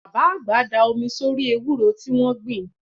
Bàbá àgbà da omi sórí ewúro tí wọ́n gbìn